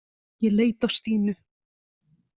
Ég leit á Stínu.